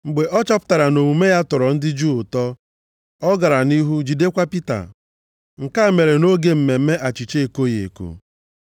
Mgbe ọ chọpụtara na omume ya tọrọ ndị Juu ụtọ, ọ gara nʼihu jidekwa Pita. Nke a mere nʼoge mmemme Achịcha Ekoghị eko.